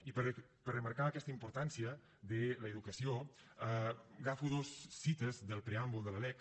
i per remarcar aquesta importància de l’educació agafo dues cites del preàmbul de la lec